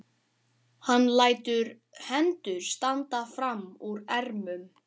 Hann lætur hendur standa fram úr ermum.